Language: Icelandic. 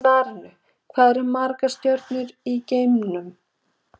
Í svarinu Hvað eru margar stjörnur í geimnum?